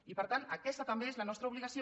i per tant aquesta també és la nostra obligació